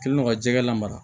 Kɛlen do ka jɛgɛ lamara